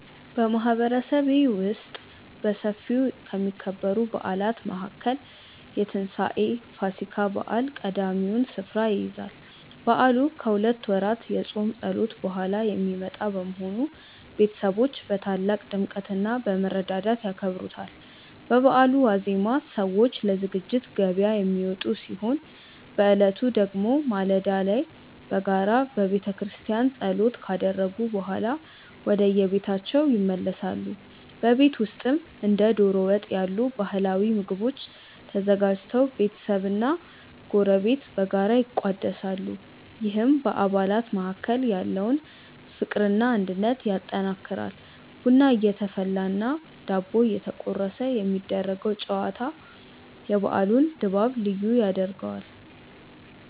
በማህበረሰቤ ውስጥ በሰፊው ከሚከበሩ በዓላት መካከል የትንሳኤ (ፋሲካ) በዓል ቀዳሚውን ስፍራ ይይዛል። በዓሉ ከሁለት ወራት የጾም ጸሎት በኋላ የሚመጣ በመሆኑ፣ ቤተሰቦች በታላቅ ድምቀትና በመረዳዳት ያከብሩታል። በበዓሉ ዋዜማ ሰዎች ለዝግጅት ገበያ የሚወጡ ሲሆን፣ በዕለቱ ደግሞ ማለዳ ላይ በጋራ በቤተክርስቲያን ጸሎት ካደረጉ በኋላ ወደየቤታቸው ይመለሳሉ። በቤት ውስጥም እንደ ዶሮ ወጥ ያሉ ባህላዊ ምግቦች ተዘጋጅተው ቤተሰብና ጎረቤት በጋራ ይቋደሳሉ፤ ይህም በአባላት መካከል ያለውን ፍቅርና አንድነት ያጠናክራል። ቡና እየተፈላና ዳቦ እየተቆረሰ የሚደረገው ጨዋታ የበዓሉን ድባብ ልዩ ያደርገዋል።